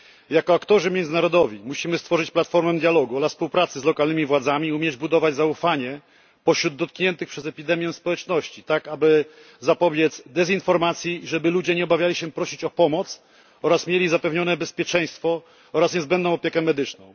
Jako aktorzy międzynarodowi musimy stworzyć platformę dialogu oraz współpracy z lokalnymi władzami i umieć budować zaufanie pośród dotkniętych przez epidemię społeczności, tak aby zapobiec dezinformacji i żeby ludzie nie obawiali się prosić o pomoc oraz mieli zapewnione bezpieczeństwo oraz niezbędną opiekę medyczną.